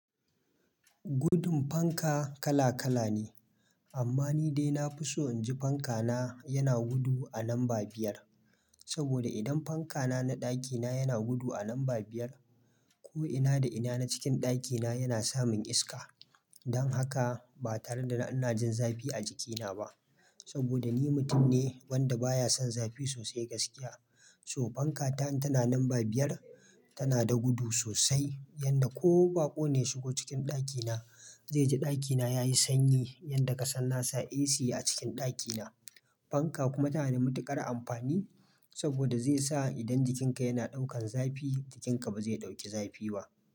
Gudun fanka kala kala ne, amma ni dai na fi so in ji fanka na yana gudu a lamba biyar. Saboda idan fanka na na ɗakina yana gudu a lamba biyar, ko ina da ina na cikin ɗakina yana samun iska. Dan haka, ba tare da ina jin zafi a jikina ba. Saboda ni mutum ne wanda baya son zafi sosai gaskiya. To fanka ta in tana lamba biyar, tana da gudu sosai, yanda ko baƙo ne shigo cikin ɗakina, zai ji ɗakina yayi sanyi, yanda kasan nasa AC a cikin ɗakina. Fanka kuma tana da matuƙar amfani saboda zai sa idan jikinka yana ɗaukan zafi, jikinka ba zai ɗauki zafi ba.